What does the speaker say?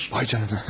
Vay canına!